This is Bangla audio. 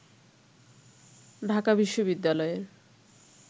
ঢাকা বিশ্ববিদ্যালয়ের